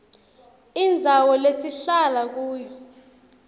indzawo lesihlala kuyo